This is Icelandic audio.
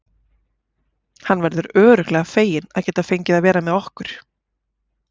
Hann verður örugglega feginn að geta fengið að vera með okkur.